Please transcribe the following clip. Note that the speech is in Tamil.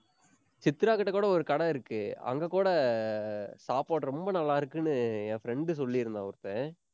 சித்ராகிட்ட கூட ஒரு கடை இருக்கு. அங்க கூட அஹ் சாப்பாடு ரொம்ப நல்லா இருக்குன்னு என் friend சொல்லியிருந்தான் ஒருத்தன்